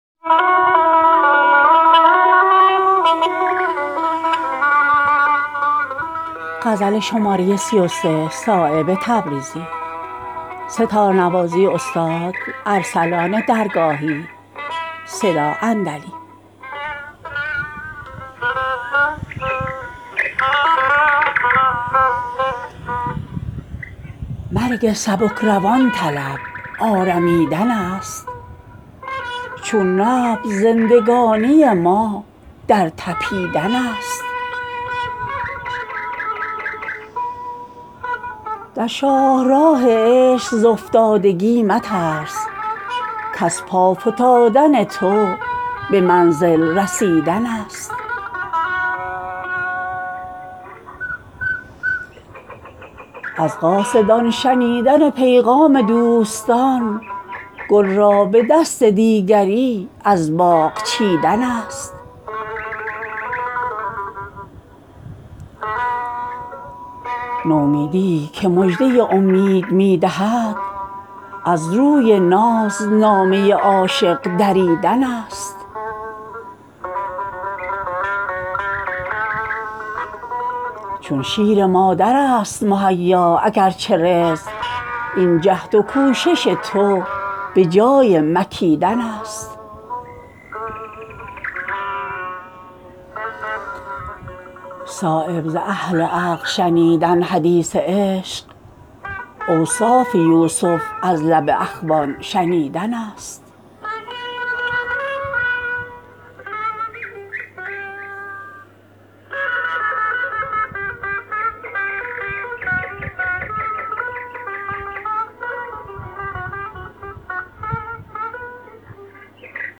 مرگ سبکروان طلب آرمیدن است چون نبض زندگانی ما در تپیدن است در شاهراه عشق ز افتادگی مترس کز پا فتادن تو به منزل رسیدن است بر سینه گشاده ما دست رد خلق بر روی بحر پنجه خونین کشیدن است تسلیم شو که زخم نمایان عشق را گر هست بخیه ای لب خود را گزیدن است روزی طمع ز کلک تهی مغز داشتن انگشت خود به وقت ضرورت مکیدن است از قاصدان شنیدن پیغام دوستان گل را به دست دیگری از باغ چیدن است نومیدیی که مژده امید می دهد از روی ناز نامه عاشق دریدن است امید چرب نرمی ازین خشک طینتان روغن ز ریگ و آب ز آهن کشیدن است نتوان به کنه قطره رسیدن میان بحر تنها شدن ز خلق به خود وارسیدن است چون شیر مادرست مهیا اگر چه رزق این جهد و کوشش تو به جای مکیدن است صایب ز اهل عقل شنیدن حدیث عشق اوصاف یوسف از لب اخوان شنیدن است